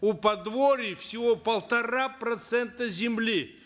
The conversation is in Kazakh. у подворий всего полтора процента земли